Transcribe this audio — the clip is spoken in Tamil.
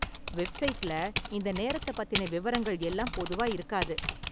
வெப்சைட்ல இந்த நேரத்தை பத்தின விவரங்கள் எல்லாம் பொதுவா இருக்காது.